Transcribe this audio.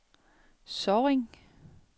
Sorring